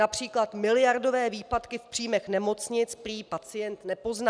Například miliardové výpadky v příjmech nemocnic prý pacient nepozná.